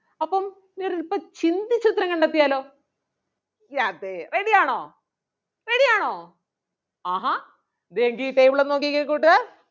അപ്പം ചിന്തിച്ച് ഉത്തരം കണ്ടെത്തിയാലോ അതേ ready ആണോ? ready ആണോ ആഹാ ദേ ഈ table ഒന്ന് നോക്കിയേ കൂട്ടുകാർ.